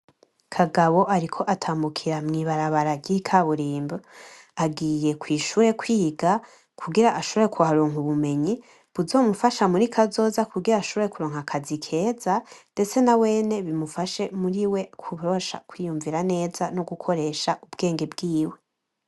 Kagabo ariko atambukira mw'ibarabara ry'ikaburimbo, agiye kw'ishure kwiga, kugira ashobore kuharonka ubumenyi buzomufasha muri kazoza kugira ashobore kuronka akazi keza, ndetse nawene bimufashe muri we kubasha kwiyumvira neza no gukoresha ubwenge bwiwe.